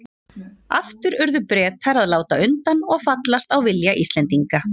Aftur urðu Bretar að láta undan og fallast á vilja Íslendinga.